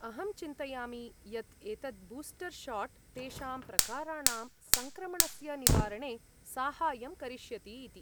अहं चिन्तयामि यत् एतत् बूस्टर् शाट् तेषां प्रकाराणां सङ्क्रमणस्य निवारणे साहाय्यं करिष्यति इति।